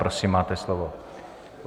Prosím, máte slovo.